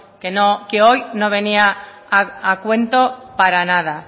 que no que hoy no venía a cuento para nada